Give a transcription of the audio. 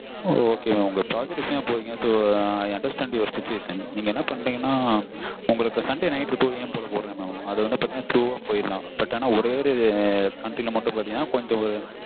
so okay mam நீங்க project விஷயமா போறீங்க so I understand situation நீங்க என்ன பண்றிங்கன்னா உங்களுக்கு sunday night போடுற mam அது பார்த்தீங்கன்னா through போயிடலாம் but ஒரே ஒரு country ல பாத்தீங்கன்னா